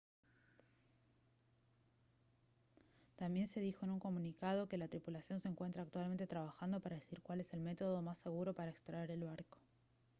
también se dijo en un comunicado que: «la tripulación se encuentra actualmente trabajando para decidir cuál es el método más seguro para extraer el barco»